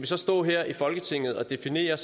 så stå her i folketinget og definere